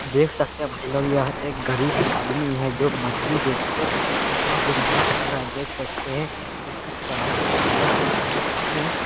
देख सकते हैं भाई लोग यह एक गरीब आदमी है जो मछली बेचकर अपना गुजारा कर रहा है। देख सकते हैं इसके तराजू के हालात देख सकते हैं इसमें --